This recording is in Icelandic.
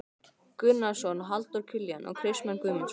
Gunnarsson, Halldór Kiljan og Kristmann Guðmundsson.